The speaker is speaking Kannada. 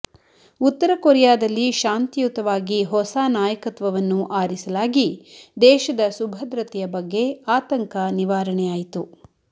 ಉತ್ತರ ಕೊರಿಯಾದಲ್ಲಿ ಶಾಂತಿಯುತವಾಗಿ ಹೊಸ ನಾಯಕತ್ವವನ್ನು ಆರಿಸಲಾಗಿ ದೇಶದ ಸುಭದ್ರತೆಯ ಬಗ್ಗೆ ಆತಂಕ ನಿವಾರಣೆ ಆಯಿತು